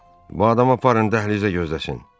Bu adamı aparın dəhlizə gözləsin.